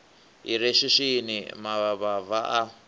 i re swiswini mavhava a